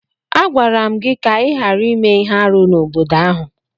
Agwara m gị ka ị ghara ime ihe árú n'obodo ahu!